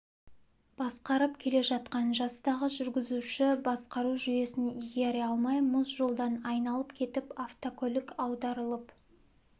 басқарып келе жатқан жастағы жүргізуші басқару жүйесін игере алмай мұз жолдан айналып кетіп автокөлік аударылып